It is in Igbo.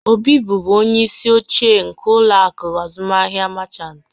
Obi bụbu onye isi oche nke ụlọ akụ azụmaahịa Merchant